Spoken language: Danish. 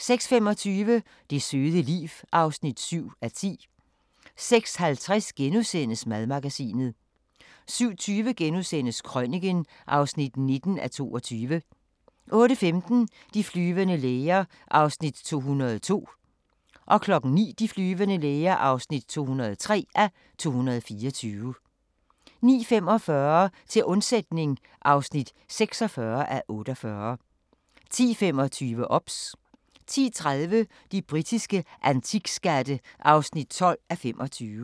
7)(man-tir) 06:25: Det søde liv (7:10) 06:50: Madmagasinet * 07:20: Krøniken (19:22)* 08:15: De flyvende læger (202:224) 09:00: De flyvende læger (203:224) 09:45: Til undsætning (46:48) 10:25: OBS 10:30: De britiske antikskatte (12:25)